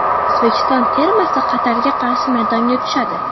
O‘zbekiston termasi Qatarga qarshi maydonga tushadi.